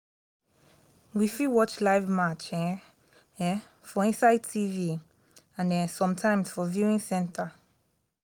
we fit watch life match um um for inside tv and um sometimes for viewing center